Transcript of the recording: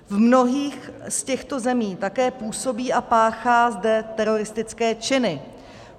V mnohých z těchto zemí také působí a páchá zde teroristické činy.